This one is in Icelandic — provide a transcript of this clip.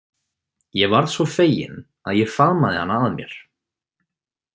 Ég varð svo fegin að ég faðmaði hana að mér.